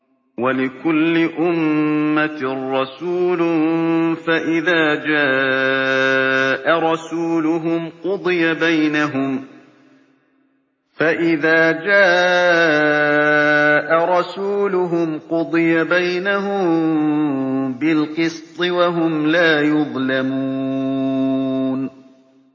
وَلِكُلِّ أُمَّةٍ رَّسُولٌ ۖ فَإِذَا جَاءَ رَسُولُهُمْ قُضِيَ بَيْنَهُم بِالْقِسْطِ وَهُمْ لَا يُظْلَمُونَ